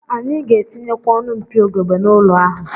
Anyị ga-etinyekwa ọnụ mpio ugegbe n'ụlọ ahụ